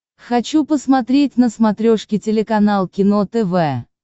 хочу посмотреть на смотрешке телеканал кино тв